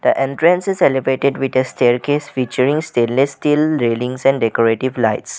The entrance is elevated with a staircase featuring stainless steel railings and decorative lights.